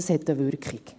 Das hat eine Wirkung.